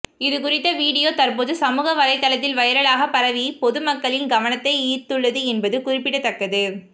இதுகுறித்த வீடியோ தற்போது சமூக வலைத்தளத்தில் வைரலாக பரவி பொதுமக்களின் கவனத்தை ஈர்த்துள்ளது என்பது குறிப்பிடத்தக்கது